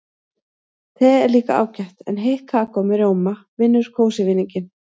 Te er líka ágætt en heitt kakó með rjóma vinnur kósí-vinninginn.